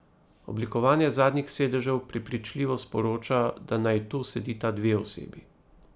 Oblikovanje zadnjih sedežev prepričljivo sporoča, da naj tu sedita dve osebi.